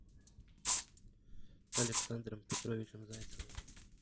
александром петровичем зайцевым